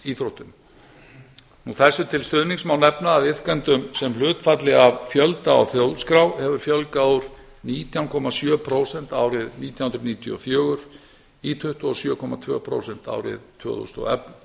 almenningsíþróttum þessu til stuðnings má nefna að iðkendum sem hlutfalli af fjölda úr þjóðskrá hefur fjölgað úr nítján komma sjö prósent árið nítján hundruð níutíu og fjögur í tuttugu og sjö komma tvö prósent árið tvö þúsund og